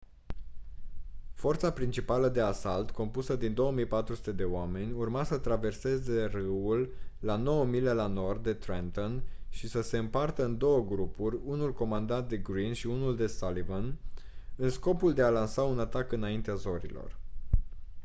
forța principală de asalt compusă din 2.400 de oameni urma să traverseze râul la nouă mile la nord de trenton și să se împartă în două grupuri unul comandat de greene și unul de sullivan în scopul de a lansa un atac înaintea zorilor